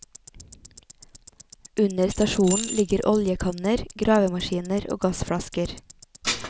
Under stasjonen ligger oljekanner, gravemaskiner og gassflasker.